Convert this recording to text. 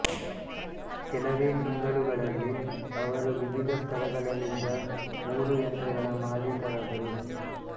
ಕೆಲವೇ ತಿಂಗಳುಗಳಲ್ಲಿ ಅವರು ವಿವಿಧ ಸ್ಥಳಗಳಲ್ಲಿದ್ದ ಮೂರು ಯಂತ್ರಗಳ ಮಾಲಿಕರಾದರು